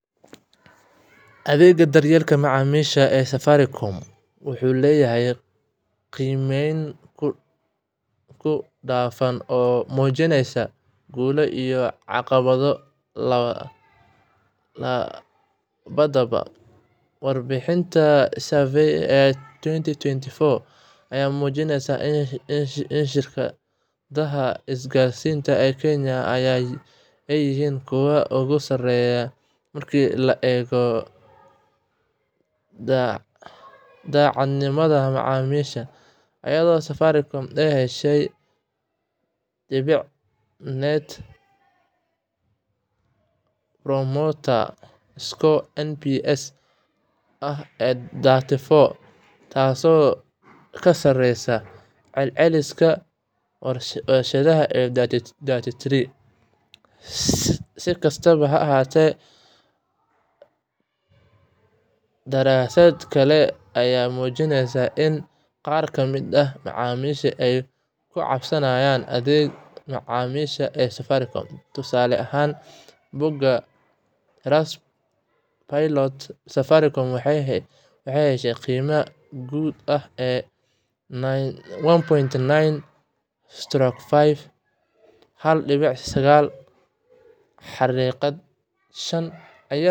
Adeegga daryeelka macaamiisha ee Safaricom waxa uu si weyn loogu amaanaa kartidiisa sare ee xallinta arrimaha macaamiisha, iyadoo inta badan la sheegayo in adeeggaasi yahay mid degdeg ah, la isku halleyn karo, isla markaana si xirfad leh wax looga qabto cabashooyinka iyo baahiyaha kala duwan ee macaamiisha, iyada oo adeeg-bixiyayaashu si naxariis leh, dulqaad leh, uguna hadla si cad ay ula dhaqmaan macaamiisha marka ay la xiriiraan, taasi oo sare u qaadda kalsoonida macaamiisha ay ku qabaan shirkadda, isla markaana ay u arkaan in wax kasta oo dhibaato ah oo ay la kulmaan si hufan looga jawaabo, iyadoo la adeegsanayo kanaallo badan sida wicitaannada, farriimaha, iyo baraha bulshada, taasoo u sahlaysa macaamiisha inay si fudud u helaan caawimaad, iyagoo aan waqti badan lumin.